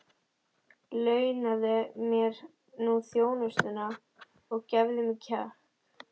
Launaðu mér nú þjónustuna og gefðu mér kjark!